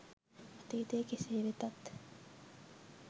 අතීතය කෙසේ වෙතත්